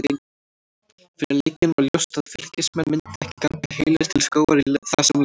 Fyrir leikinn var ljóst að Fylkismenn myndu ekki ganga heilir til skógar í þessum leik.